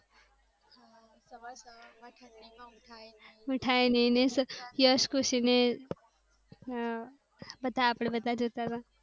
ઉઠાય નહિ ને યશ ખુસી ને બધા આપણે બધા જતા તા.